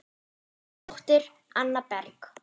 Þín dóttir, Anna Berg.